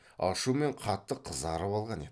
ашумен қатты қызарып алған еді